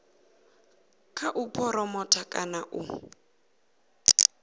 kha u phuromotha kana u